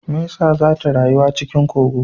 Mesa zata rayuwa cikin kogo